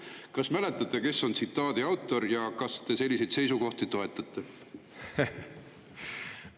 Kas mäletate, kes on nende autor, ja kas te selliseid seisukohti toetate?